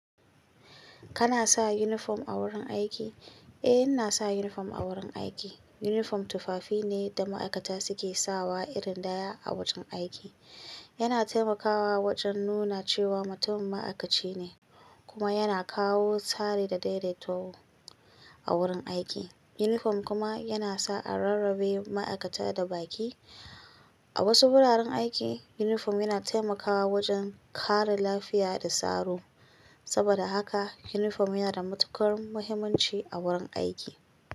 Kana sa uniform a wurin aiki? Eh, inasa uniform a wurin aiki. Uniform tufafi ne da ma'aikata suke sawa irin daya a wajen aiki. Yana taimakawa wajen nuna cewa mutum ma'aikaci ne kuma yana kawo tsari da daidaito a wurin aiki. Uniform kuma yana sa a rarrabe ma'aikata da baƙi. A wasu wuraren aiki uniform yana taimakawa wajen kare lafiya da tsaro. Saboda haka uniform yana da matuƙar muhimmanci a wurin aiki.